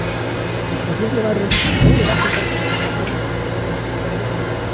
Þótt litlir væru reyndust þeir góðir varðhundar og voru hafðir upp á virkisveggjum klaustranna.